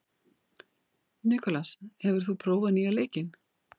Nikolas, hefur þú prófað nýja leikinn?